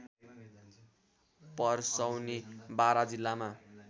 परसौनी बारा जिल्लामा